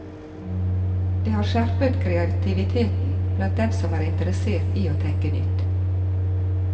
Det har skjerpet kreativiteten blant dem som er interessert i å tenke nytt.